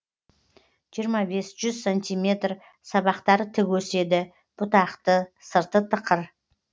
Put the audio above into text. жиырма бес жүз сантиметр сабақтары тік өседі бұтақты сырты тықыр